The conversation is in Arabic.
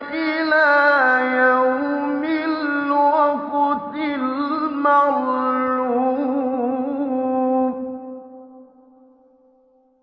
إِلَىٰ يَوْمِ الْوَقْتِ الْمَعْلُومِ